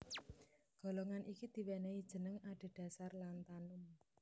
Golongan iki diwènèhi jeneng adhedhasar lantanum